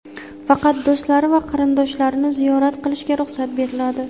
faqat do‘stlari va qarindoshlarini ziyorat qilishga ruxsat beriladi.